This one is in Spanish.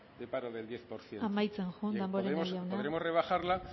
de paro del diez por ciento amaitzen joan damborenea jauna podremos rebajarla